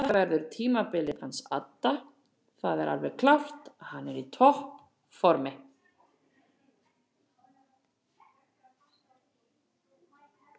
Þetta verður tímabilið hans adda það er alveg klárt hann er í toppformi.